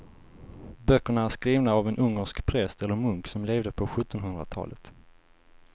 Böckerna är skrivna av en ungersk präst eller munk som levde på sjuttonhundratalet.